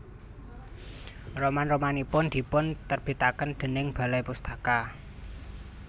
Roman romanipun dipun terbitaken déning Balai Pustaka